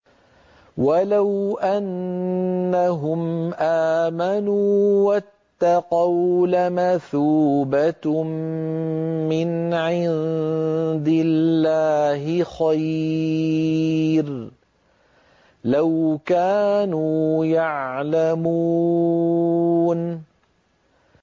وَلَوْ أَنَّهُمْ آمَنُوا وَاتَّقَوْا لَمَثُوبَةٌ مِّنْ عِندِ اللَّهِ خَيْرٌ ۖ لَّوْ كَانُوا يَعْلَمُونَ